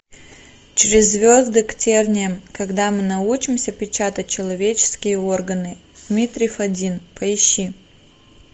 через звезды к терниям когда мы научимся печатать человеческие органы дмитрий фадин поищи